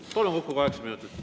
Palun, kokku kaheksa minutit.